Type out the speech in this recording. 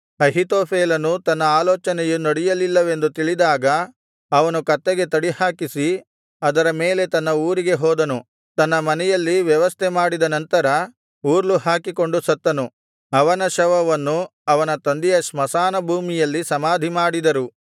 ಅಹೀತೋಫೆಲನು ತನ್ನ ಆಲೋಚನೆಯು ನಡೆಯಲಿಲ್ಲವೆಂದು ತಿಳಿದಾಗ ಅವನು ಕತ್ತೆಗೆ ತಡಿಹಾಕಿಸಿ ಅದರ ಮೇಲೆ ತನ್ನ ಊರಿಗೆ ಹೋದನು ತನ್ನ ಮನೆಯಲ್ಲಿ ವ್ಯವಸ್ಥೆಮಾಡಿದ ನಂತರ ಉರ್ಲು ಹಾಕಿಕೊಂಡು ಸತ್ತನು ಅವನ ಶವವನ್ನು ಅವನ ತಂದೆಯ ಸ್ಮಶಾನಭೂಮಿಯಲ್ಲಿ ಸಮಾಧಿಮಾಡಿದರು